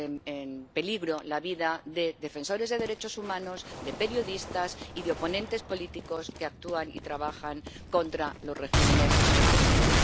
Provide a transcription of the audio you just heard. en peligro la vida de defensores de derechos humanos, de periodistas y de oponentes políticos que actúan y trabajan contra los regímenes represivos.